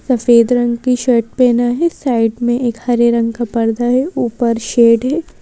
सफेद रंग की शर्ट पहना है साइड में एक हरे रंग का पर्दा है ऊपर शेड है।